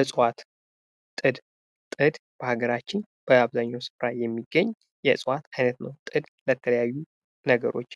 እጽዋት ፦ ጥድ ፦ ጥድ በሀገራችን በአብዛኛው ስፍራ የሚገኝ የእፅዋት አይነቶ ች ነው ። ጥድ የተለያዩ ነገሮች